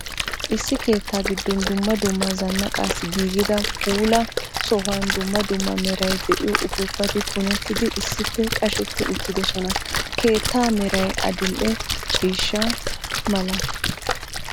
Issi keettaa giddon dumma dumma zanaqqaassi giiggida puulaa sohuwan dumma dumma meray de'iyo uppuppati pugettidi issippe qasheti uttiddosona. Keettaa meray adil"e ciishshaa mala.